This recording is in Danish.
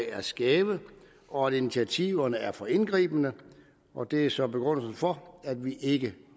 er skæve og at initiativerne er for indgribende og det er så begrundelsen for at vi ikke